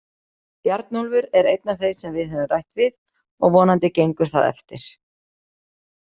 Bjarnólfur er einn af þeim sem við höfum rætt við og vonandi gengur það eftir.